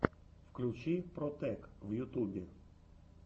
включи протэк в ютубе